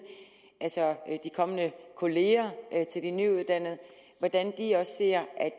altså de kommende kolleger til de nyuddannede hvordan de også ser at